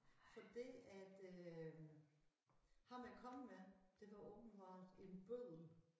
Fordi at øh ham jeg kom med det var åbenbart en bøddel